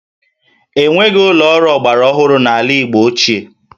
E nweghị ụlọ ọrụ ọgbara ọhụrụ n'ala Igbo ochie